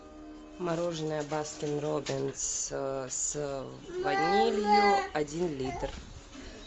мороженое баскин роббинс с ванилью один литр